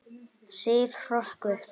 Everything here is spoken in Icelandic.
Sif hrökk upp.